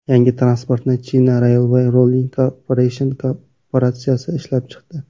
Yangi transportni China Railway Rolling Corporation korporatsiyasi ishlab chiqdi.